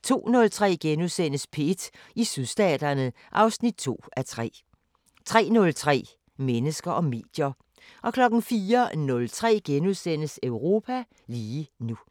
* 02:03: P1 i Sydstaterne (2:3)* 03:03: Mennesker og medier 04:03: Europa lige nu *